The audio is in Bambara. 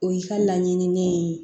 O y'i ka laɲininen ye